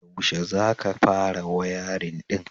Yaushe za ka fara wayarin ɗin?